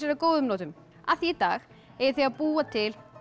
að góðum notum af því í dag eigið þið að búa til